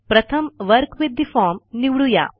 प्रथम work with the form निवडू या